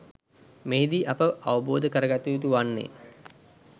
මෙහිදී අප අවබෝධ කරගත යුතු වන්නේ